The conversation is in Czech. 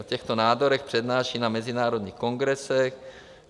O těchto nádorech přednáší na mezinárodních kongresech.